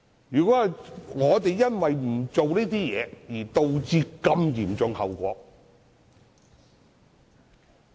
如果我們因為不願作出修訂而導致嚴重後果......